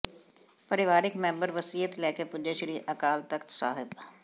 ਪਰਿਵਾਰਿਕ ਮੈਂਬਰ ਵਸੀਅਤ ਲੈਕੇ ਪੁਜੇ ਸ਼੍ਰੀ ਅਕਾਲ ਤਖਤ ਸਾਹਿਬ